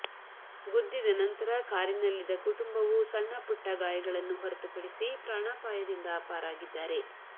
ಗುದ್ದಿದ ನಂತರ ಕಾರಿನಲ್ಲಿದ್ದ ಕುಟುಂಬವು ಸಣ್ಣ ಪುಟ್ಟ ಗಾಯಗಳನ್ನು ಹೊರತು ಪಡಿಸಿ ಪ್ರಾಣಾಪಾಯದಿಂದ ಪಾರಾಗಿದ್ದಾರೆ